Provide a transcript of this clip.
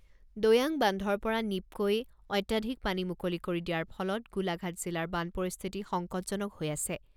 দৈয়াং বান্ধৰ পৰা নীপকই অত্যাধিক পানী মুকলি কৰি দিয়াৰ ফলত গোলাঘাট জিলাৰ বান পৰিস্থিতি সংকটজনক হৈ আছে।